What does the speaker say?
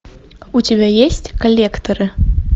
у тебя есть коллекторы